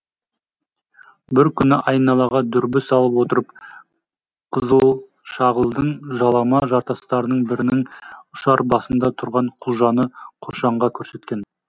бір күні айналаға дүрбі салып отырып қызылшағылдың жалама жартастарының бірінің ұшар басында тұрған құлжаны қошанға көрсеткен